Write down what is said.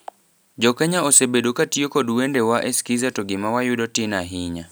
Jokenya osebedo katio kod wende wa e skiza to gima wayudo tin ahinya.